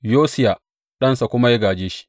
Yosiya ɗansa kuma ya gāje shi.